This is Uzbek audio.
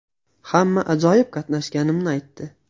Hamma ajoyib qatnashganimni aytdi.